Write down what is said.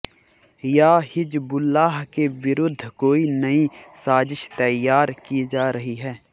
या हिज़्बुल्लाह के विरुद्ध कोई नई साज़िश तैयार की जा रही है